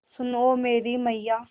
सुन ओ मेरी मैय्या